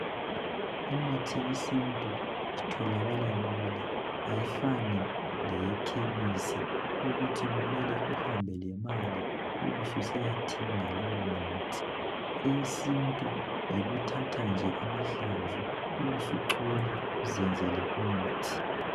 Imithi yesintu itholakala lula ayifani leyekhemisi ukuthi kumele uhambe lemali ukuyathenga leyo mithi eyesintu uyathatha nje amahlamvu ubusuchola uzenzele umuthi